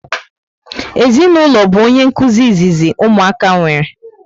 Ezinụlọ bu onye nkụzi izizi ụmụaka nwere